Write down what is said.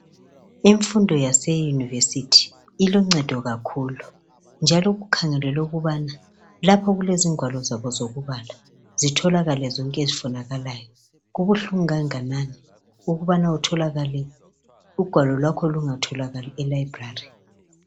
Imfundo yase Yunivesithi iloncedo kakhulu njalo, kukhangelwe ukubana lapho okulezingwalo zabo zokubala zitholakale zonke ezifunakalayo. Kubuhlungu kangakanani ukubana utholakale ugwalo lwakho lungatholakali eLibrary.